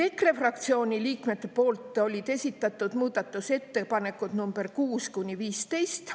EKRE fraktsiooni liikmed olid esitanud muudatusettepanekud nr 6–15.